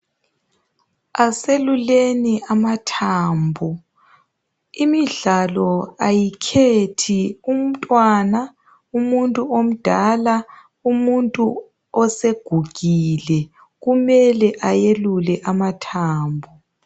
Aseluleni amathambo imidlalo ayikhethi umntwana umuntu omdala umuntu osegugile kumele ayelule amathambo.